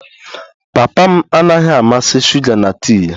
Papa m anaghị amasị shuga na tii ya